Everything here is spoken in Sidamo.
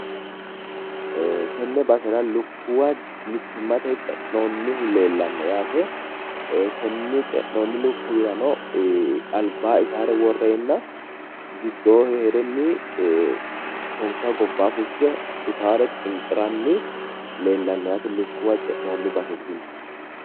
Tenne basera lukkuwa mittimmate ce'noonnihu leellanno yaate konni ce'noonni lukkuwirano albaa itaare worreenna giddoo heerenni konka gobbaa fushshe itaare xinqiranni leellanno yaate lukkuwa ce'noonni baseeti tini